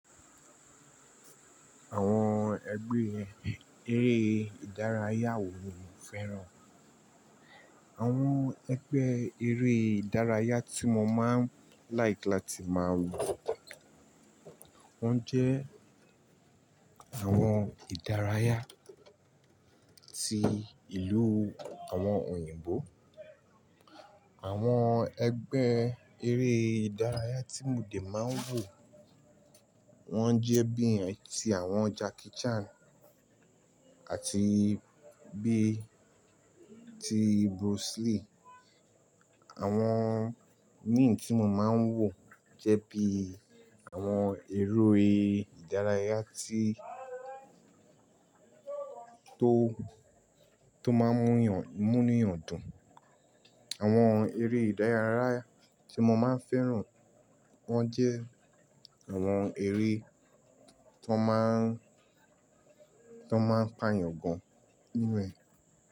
Àwọn ẹgbẹ́ eré ìdárayá wo mo fẹ́ràn? Àwọn ẹgbẹ́ eré ìdárayá tí mo máa ń like láti máa wò, wọ́n jẹ́ àwọn ìdárayá ti ìlú àwọn òyìnbó. Àwọn ẹgbẹ́ eré ìdárayá tí mo dè máa ń wò, wọ́n jẹ́ bí i ti àwọn Jackie Chan àti bí i ti Bruce Lee. Àwọn imi tí mo máa ń wò jẹ́ bi àwọn ère ìdárayá tí tó máa ń mú yàn dùn. Àwọn eré ìdárayá tí mo máa ń fẹ́ràn, wọ́n jẹ́ àwọn eré tó máa ń, tó máa ń pàyàn gan nínú ẹ.